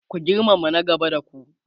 ku girmama na gaba da ku!